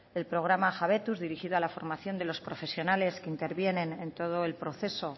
el programa jabetuz dirigido a la formación de los profesionales que intervienen en todo el proceso